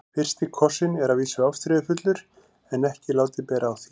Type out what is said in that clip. FYRSTI KOSSINN er að vísu ástríðufullur en ekki látið bera á því.